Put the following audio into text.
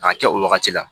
K'a kɛ o wagati la